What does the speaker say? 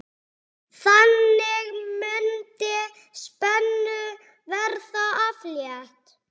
Þannig mundi spennu verða aflétt.